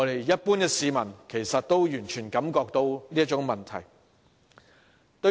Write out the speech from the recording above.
一般市民也完全感覺到這個問題的嚴重性。